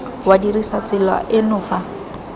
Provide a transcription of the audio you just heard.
wa dirisa tsela eno fa